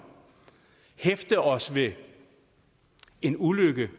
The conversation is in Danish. hæfte os ved en ulykke